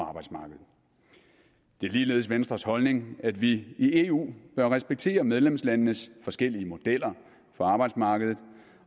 arbejdsmarkedet det er ligeledes venstres holdning at vi i eu bør respektere medlemslandenes forskellige modeller for arbejdsmarkedet